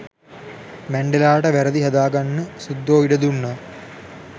මැන්ඩෙලාට වැරදි හදාගන්න සුද්දෝ ඉඩ දුන්නා